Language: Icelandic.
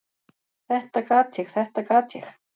"""Þetta gat ég, þetta gat ég!"""